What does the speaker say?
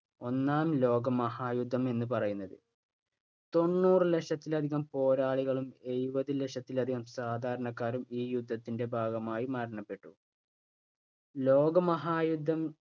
ഒന്നാം ലോകമഹായുദ്ധം എന്നു പറയുന്നത്. തൊണ്ണൂറ് ലക്ഷത്തിലധികം പോരാളികളും, എഴുപത് ലക്ഷത്തിലധികം സാധാരണക്കാരും ഈ യുദ്ധത്തിന്റെ ഭാഗമായി മരണപ്പെട്ടു. ലോകമഹായുദ്ധം